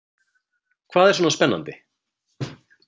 Hvað er svona spennandi?